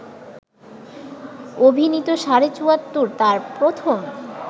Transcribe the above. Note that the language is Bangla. অভিনীত ‘সাড়ে চুয়াত্তর’ তার প্রথম